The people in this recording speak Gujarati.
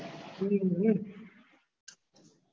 હમ